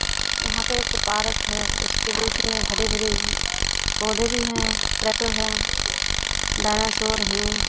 यहाँ पे एक पार्क है उसके हरे भरे पौधे भी है है डैनासोरे है।